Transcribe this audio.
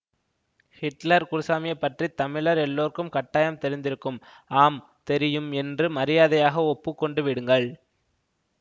Hitler குருசாமியைப் பற்றி தமிழர் எல்லாருக்கும் கட்டாயம் தெரிந்திருக்கும் ஆம் தெரியும் என்று மரியாதையாக ஒப்பு கொண்டு விடுங்கள்